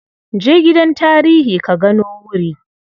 Je gidan tarihi ka gano wuri.